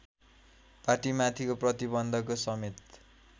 पार्टीमाथिको प्रतिबन्धको समेत